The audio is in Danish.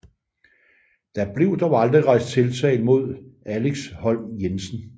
Der blev dog aldrig rejst tiltale mod Alex Holm Jensen